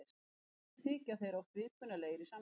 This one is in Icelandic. Einnig þykja þeir oft viðkunnanlegir í samskiptum.